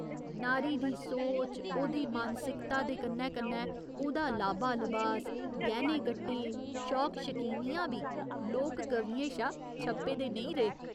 नारी दी सोच, ओह्दी मानसिकता दे कन्नै कन्नै ओह्दा लाबा लबास, गैह्‌ने गट्टे, शौक शकीनियां बी लोक कवियें शा छप्पे दे नेईं रेह्।